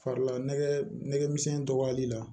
Farila nɛgɛmisɛnnin dɔgɔyali la